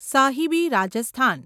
Sahibi Rajasthan